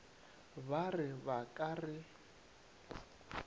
ba re ba ka re